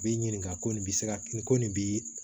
B'i ɲininka ko nin bi se ka ko nin bi